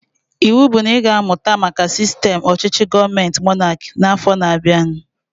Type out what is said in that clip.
Ịwụ bụ na ị ga-amụta maka sistem ọchịchị gọọmenti monaki afọ na-abianu!